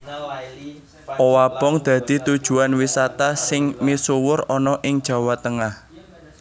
Owabong dadi tujuwan wisata sing misuwur ana ing Jawa Tengah